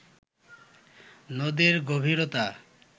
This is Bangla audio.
নদীর গভীরতা